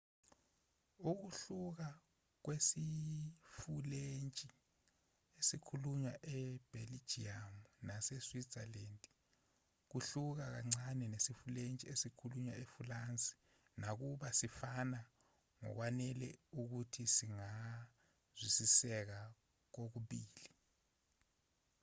ukuhluka kwesifulentshi esikhulunywa ebheljiyamu nase-switzerland kuhluka kancane nesifulentshi esikhulunywa efulansi nakuba sifana ngokwanele ukuthi singazwisiseka kokubili